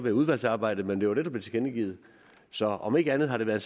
i udvalgsarbejdet men det var det der blev tilkendegivet så om ikke andet har det været